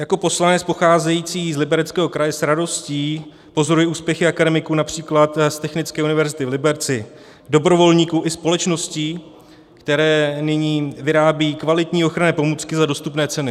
Jako poslanec pocházející z Libereckého kraje s radostí pozoruji úspěchy akademiků například z Technické univerzity v Liberci, dobrovolníků i společností, které nyní vyrábějí kvalitní ochranné pomůcky za dostupné ceny.